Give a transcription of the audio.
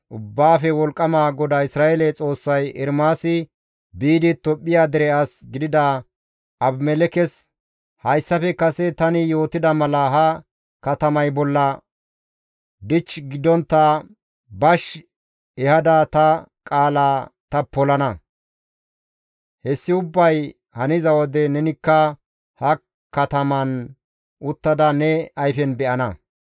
Ubbaafe Wolqqama GODAA Isra7eele Xoossay Ermaasi biidi Tophphiya dere as gidida Abimelekkes, «Hayssafe kase tani yootida mala ha katamay bolla dich gidontta bash ehada ta qaala ta polana; hessi ubbay haniza wode nenikka ha kataman uttada ne ayfen be7ana.